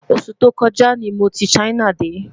osù tó kò ja ní mọ tí China dé